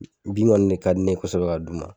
Bin kɔni ne ka di ne ye kosɛbɛ ka d'u ma